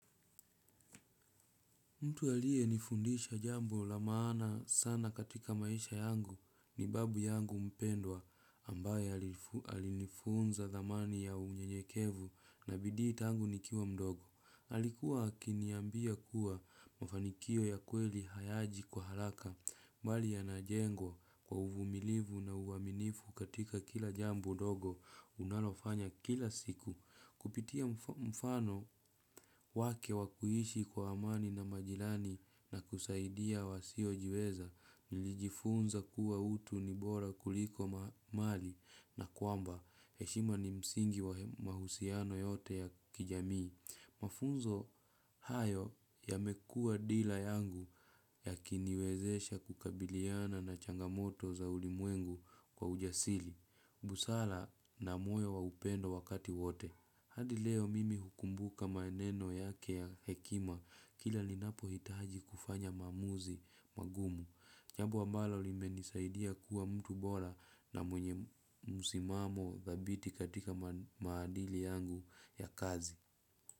Mtu aliyenifundisha jambo la maana sana katika maisha yangu ni babu yangu mpendwa ambaye alifunza dhamani ya unyenyekevu na bidii tangu nikiwa mdogo. Alikuwa akiniambia kuwa mafanikio ya kweli hayaji kwa haraka bali yanajengwa kwa uvumilivu na uaminifu katika kila jambo ndogo unalofanya kila siku. Kupitia mfano wake wa kuishi kwa amani na majirani na kusaidia wasiojiweza nilijifunza kuwa utu ni bora kuliko mali na kwamba heshima ni msingi wa mahusiano yote ya kijamii. Mafunzo hayo yamekuwa dealer yangu yakiniwezesha kukabiliana na changamoto za ulimwengu kwa ujasili. Busala na moyo wa upendo wakati wote. Hadi leo mimi hukumbuka maeneno yake ya hekima kila ninapohitahaji kufanya maamuzi magumu. Jambo ambalo limenisaidia kuwa mtu bora na mwenye musimamo dhabiti katika maadili yangu ya kazi.